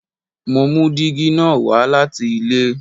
Mo mú dígí na wá láti ilé